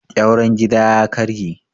ƙyauren gida ya karye